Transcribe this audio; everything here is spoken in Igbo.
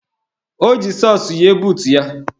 O ji sọks yie buutu ya.